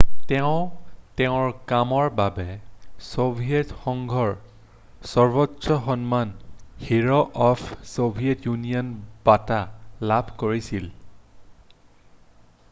তেওঁ তেওঁৰ কামৰ বাবে ছোভিয়েট সংঘৰ সৰ্বোচ্চ সন্মান হিৰ' অফ ছোভিয়েট ইউনিয়ন' বঁটা লাভ কৰিছিল